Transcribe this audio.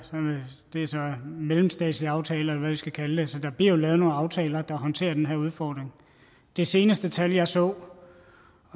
det er så mellemstatslige aftaler vi skal kalde det så der bliver jo lavet nogle aftaler der håndterer den her udfordring det seneste tal jeg så